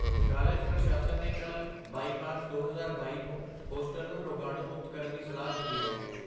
college ਪ੍ਰਸ਼ਾਸਨ ਨੇ ਕੱਲ੍ਹ, ਬਾਈ ਮਾਰਚ, ਦੋ ਹਜ਼ਾਰ ਬਾਈ ਨੂੰ ਹੋਸਟਲ ਨੂੰ ਰੋਗਾਣੂ ਮੁਕਤ ਕਰਨ ਦੀ ਸਲਾਹ ਦਿੱਤੀ ਹੈ